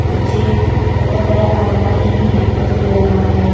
पीछे बरा बरा अलमारी भी दिखाई दे रहा है।